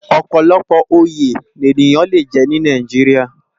Òpòlòpò óyé ni éniyán lé jè ni Nàijiriá